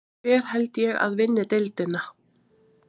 Hver held ég að vinni deildina?